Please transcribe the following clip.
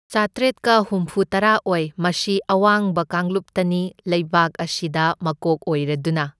ꯆꯥꯇ꯭ꯔꯦꯠꯀ ꯍꯨꯝꯐꯨꯇꯔꯥ ꯑꯣꯏ, ꯃꯁꯤ ꯑꯋꯥꯡꯕ ꯀꯥꯡꯂꯨꯞꯇꯅꯤ, ꯂꯩꯕꯥꯛ ꯑꯁꯤꯗ ꯃꯀꯣꯛ ꯑꯣꯏꯔꯗꯨꯅ꯫